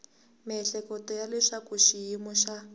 miehleketo ya leswaku xiyimo xa